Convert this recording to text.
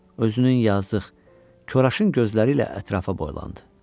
Özünün yazıq, koraşın gözləri ilə ətrafa boylandı.